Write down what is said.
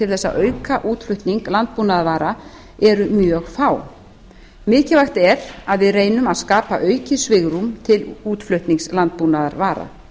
þess að auka útflutning landbúnaðarvara eru mjög fá mikilvægt er að við reynum að skapa aukið svigrúm til útflutnings landbúnaðarvara